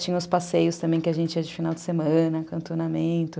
Tinha os passeios também que a gente ia de final de semana, acantonamento.